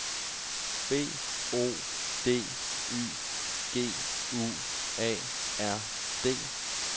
B O D Y G U A R D